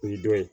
O ye dɔ ye